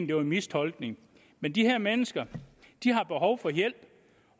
det var en mistolkning men de her mennesker har behov for hjælp